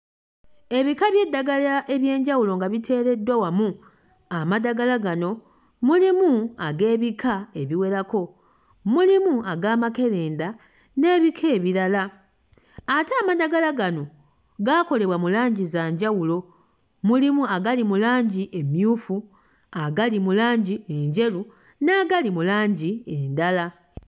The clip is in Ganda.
Ebika by'eddagala eby'enjawulo nga biteereddwa wamu. Amadagala gano mulimu ag'ebika ebiwerako. Mulimu ag'amakerenda n'ebika ebirala ate amadagala gano gaakolebwa mu langi za njawulo. Mulimu agali mu langi emmyufu, agali mu langi enjeru n'agali mu langi endala.